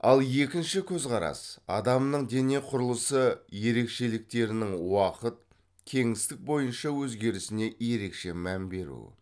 ал екінші көзқарас адамның дене құрылысы ерекшеліктерінің уақыт кеңістік бойынша өзгерісіне ерекше мән беру